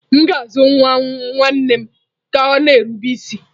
M ga-azụ nwa nwanne m ka ọ na-erube isi.